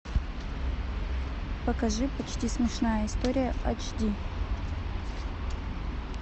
покажи почти смешная история ач ди